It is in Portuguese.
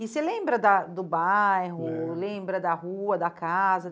E você lembra da do bairro, lembro, lembra da rua, da casa?